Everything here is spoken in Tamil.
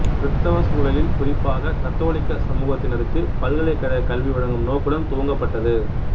கிறித்தவச் சூழலில் குறிப்பாக கத்தோலிக்கச் சமூகத்தினருக்கு பல்கலைக்கழக கல்வி வழங்கும் நோக்குடன் துவங்கப்பட்டது